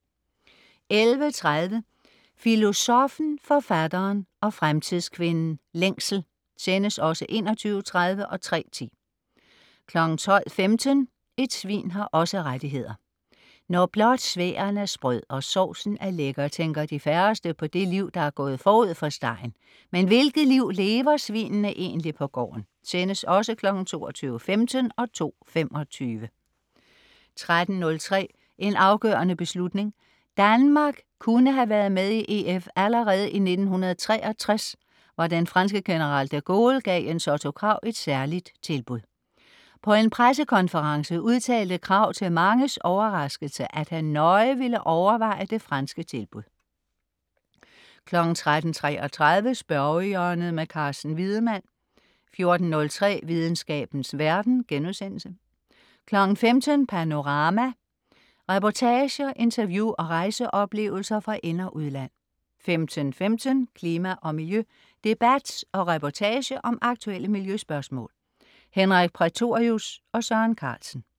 11.30 Filosoffen, Forfatteren og Fremtidskvinden. Længsel. (Sendes også 21.30 og 3.10) 12.15 Et svin har også rettigheder. Når blot sværen er sprød, og sovsen er lækker, tænker de færreste på det liv, der er gået forud for stegen. Men hvilket liv lever svinene egentlig på gården (Sendes også 22.15 og 2.25) 13.03 En afgørende beslutning. Danmark kunne have været med i EF allerede i 1963, hvor den franske general De Gaulle gav Jens Otto Krag et særligt tilbud. På en pressekonference udtalte Krag til manges overraskelse, at han "nøje ville overveje det franske tilbud" 13.33 Spørgehjørnet. Carsten Wiedemann 14.03 Videnskabens verden* 15.00 Panorama. Reportager, interview og rejseoplevelser fra ind- og udland 15.15 Klima og miljø. Debat og reportage om aktuelle miljøspørgsmål. Henrik Prætorius og Søren Carlsen